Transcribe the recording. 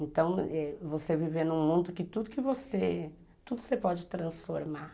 Então, você viver num mundo que tudo que você... tudo você pode transformar.